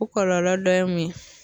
O kɔlɔlɔ dɔ ye mun ye